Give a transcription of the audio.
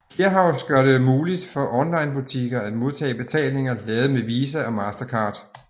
Clearhaus gør det muligt for onlinebutikker at modtage betalinger lavet med Visa og Mastercard